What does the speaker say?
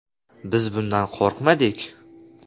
-Biz bundan qo‘rqmadik.